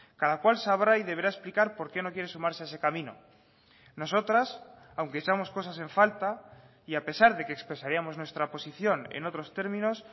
cada cual sabrá y deberá explicar por qué no quiere sumarse a ese camino nosotras aunque echamos cosas en falta y a pesar de que expresaríamos nuestra posición en otros términos